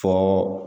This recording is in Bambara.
Fo